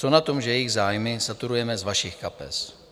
Co na tom, že jejich zájmy saturujeme z vašich kapes?